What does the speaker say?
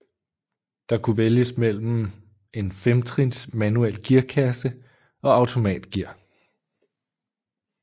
Der kunne vælges mellem en femtrins manuel gearkasse og automatgear